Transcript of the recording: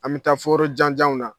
An bɛ taa fo yɔrɔ jan janw na